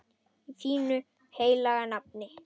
Í þínu heilaga nafni.